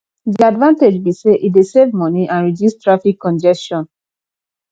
di advantage be say e dey save money and reduce traffic congestion